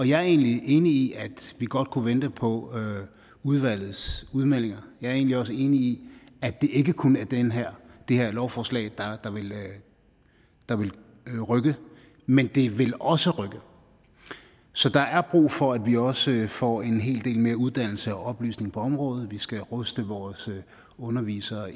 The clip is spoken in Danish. jeg er egentlig enig i at vi godt kunne vente på udvalgets udmeldinger jeg er egentlig også enig i at det ikke kun er det her her lovforslag der vil rykke men det vil også rykke så der er brug for at vi også får en hel del mere uddannelse og oplysning på området vi skal ruste vores undervisere